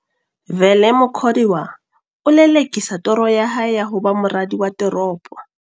Vele Mukhodiwa ho lele-kisa toro ya hae ya ho ba moradi wa teropo.